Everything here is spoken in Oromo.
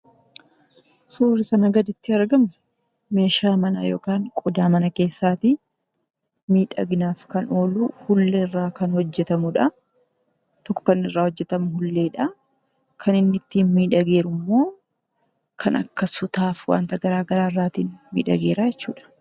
Suurri kana gaditti argamu meeshaa manaa yookiin qodaa mana keessati. Miidhaginaaf kan oolu Uulullee irraa kan hojjetamudha. Kun kan irra hojjetamu ulleedha. Kan inni ittin miidhagee jiru immoo kan akka sutaaf wanta garagraatin miidhage jira jechuudha.